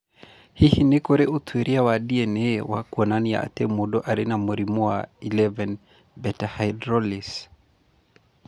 Hihi nĩ kũrĩ ũtuĩria wa DNA wa kuonania atĩ mũndũ arĩ na mũrimũ wa 11 beta hydroxylase?